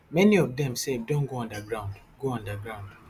many of dem sef don go underground go underground